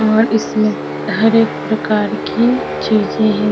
और इसमें हर एक प्रकार की चीज़े हैं।